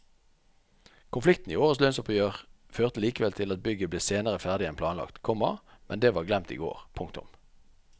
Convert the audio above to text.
Konflikten i årets lønnsoppgjør førte likevel til at bygget ble senere ferdig enn planlagt, komma men det var glemt i går. punktum